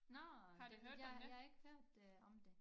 Nå det jeg jeg har ikke hørt øh om det